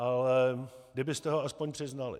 Ale kdybyste ho aspoň přiznali.